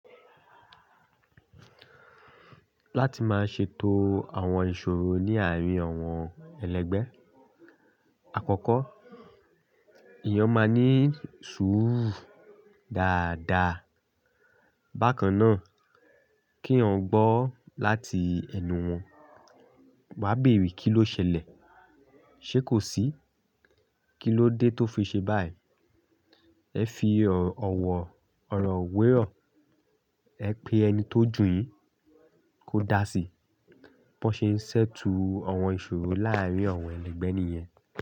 Láti máa ṣe ètò àwọn ìṣòro ní àárín àwọn ẹlẹgbẹ́. Àkọ́kọ́, èèyàn máa ní sùúrù dáadáa. Bákan náà kí eeyan gbọ́ láti ẹnu wọn. Wà á bèèrè kí ló ṣẹlẹ̀, ṣe kò sí? Kí ló dé tó fi ṣe báyìí? Ẹ fi ọ̀wọ̀ ọ̀rọ̀ wèrò, ẹ pe ẹni tó jù yín kó dá sí i. Bọ́ n ṣe ń ṣèttle àwọn ìṣòro láàárín àwọn ẹlẹgbẹ́ nìyẹn.